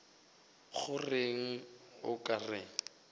go reng o ka re